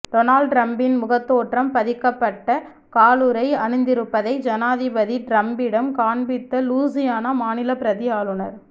Donald ட்ரம்ப்பின் முகத்தோற்றம் பதிக்கப்பட்ட காலுறை அணிந்திருப்பதை ஜனாதிபதி ட்ரம்பிடம் காண்பித்த லூசியானா மாநில பிரதி ஆளுநர்